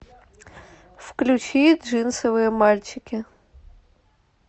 включи джинсовые мальчики